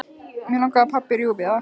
Mig langar að pabbi rjúfi það.